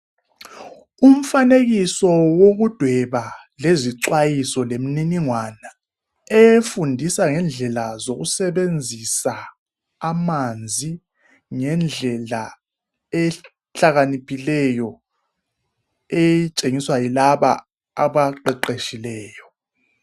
Umfanekiso wokudweba xwayiso lemniningwana efundisa ngendlela zokusebenzisa amanzi ngendlela ehlakaniphileyo etshengiswa yilaba abaqeqeshileyo.